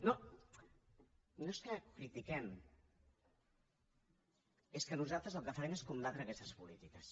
no no és que ho critiquem és que nosaltres el que farem és combatre aquestes polítiques